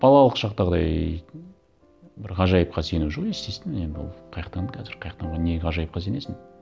балалық шақтағыдай бір ғажайыпқа сену жоқ естественно енді ол қай жақтан қазір қай жақтан не ғажайыпқа сенесің